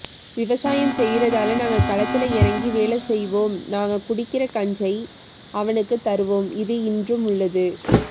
விவாசயம் செய்யுரதால நாங்க களத்தல எறங்கி வேலைசொய்யுவோம் நாங்க குடிக்கிற கஞ்சியை அவனுக்கு தருவோம் இது இன்றும் உள்ளது